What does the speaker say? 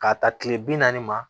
K'a ta tile bi naani ma